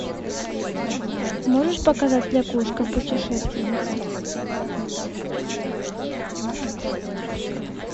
можешь показать лягушка путешественница